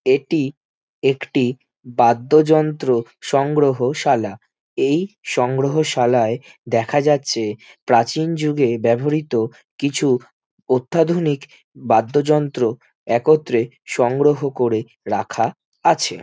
এটি একটি বাদ্যযন্ত্র সংগ্রহশালা এই সংগ্রহশালায় দেখা যাচ্ছে প্রাচীন যুগের ব্যাবহৃত কিছু অত্যাধুনিক বাদ্যযন্ত্র একত্রে সংগ্রহ করে রাখা আছে।